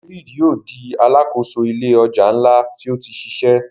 David yóò di Aláàkóso ilé ọjà nla tí o tí ṣiṣẹ.